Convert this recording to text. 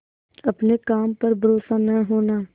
अपने काम पर भरोसा न होना